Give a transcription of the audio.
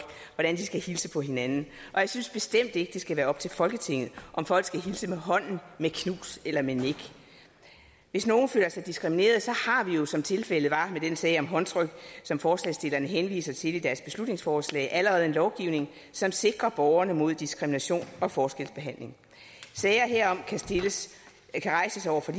hvordan de skal hilse på hinanden og jeg synes bestemt ikke det skal være op til folketinget om folk skal hilse med hånden med knus eller med nik hvis nogen føler sig diskrimineret har vi jo som tilfældet var med den sag om håndtryk som forslagsstillerne henviser til i deres beslutningsforslag allerede en lovgivning som sikrer borgerne mod diskrimination og forskelsbehandling sager herom kan rejses over for